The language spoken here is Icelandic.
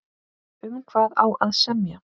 Um hvað á að semja?